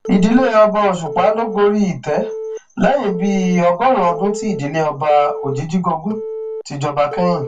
ìdílé ọba òṣùpá ló gorí ìtẹ lẹyìn bíi ọgọrùnún ọdún tí ìdílé ọba òjijìgògun ti jọba kẹyìn